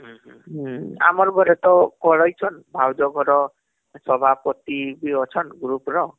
ଆମର ଘର ତ ହମ୍ଭାଉଜ ଘର ତ ସଭାପତି ଅଛନ group ର